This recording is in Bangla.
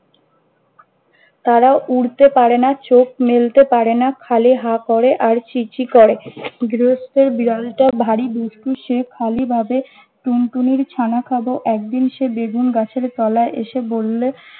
তারা উড়তে পারেনা চোখ মেলতে পারেনা, খালি হা করে আর ছি ছি করে। গৃহস্তের বিড়ালটা ভারি দুষ্টু, সে খালি ভাবে টুনটুনির ছানা খাব। একদিন সে বেগুন গাছের তলায় এসে বললে-